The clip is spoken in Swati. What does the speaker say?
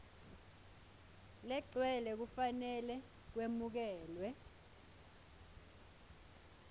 legcwele kufanele kwemukelwe